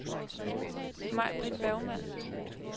Majbritt Bergmann